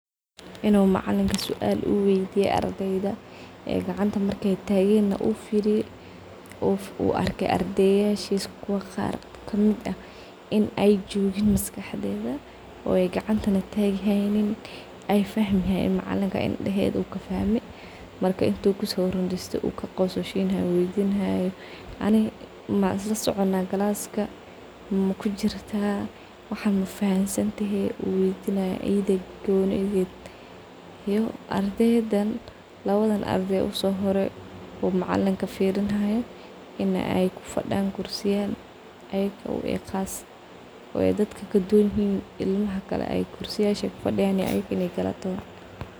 In uu macalinka sual uu weydiyo ardeyda, ay gacnta marki ay tagena uu firiye uu arke ardeyashis kuwa qar in ay jogin maskaxdodha oo ay gacnta na tagin ay fahmahayan macalinka inadhoda uu kafahme, marka intuu kurundiste uu kaqososhinayo ani maislasoconah glaska, maifahanten , manigulaceliyaah. Iyo ardeydan lawada ardeyda uguhore in ay kaduwanyihin ardeyda kale ay kalataho.